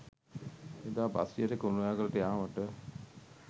එදා බස්රියට කුරුණෑගලට යාමට